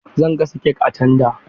Zan gasa kek a tanda.